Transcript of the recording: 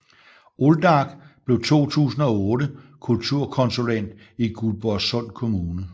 Olldag blev 2008 kulturkonsulent i Guldborgsund Kommune